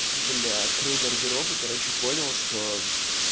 бля открыл гардероб и короче понял что